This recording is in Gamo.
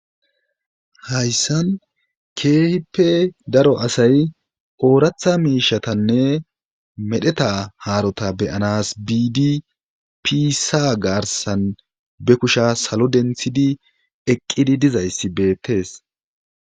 Hayssan keehipe daro asay ooratha miishatanne medheta haarota beyanas biidi piisa garsan be kusha salo denthidi eqqidi dizayssi beettees.